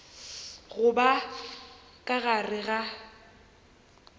go ba ka gare ga